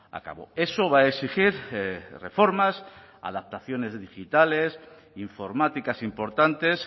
a cabo eso va a exigir reformas adaptaciones digitales informáticas importantes